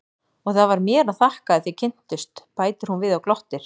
Og það var mér að þakka að þið kynntust, bætir hún við og glottir.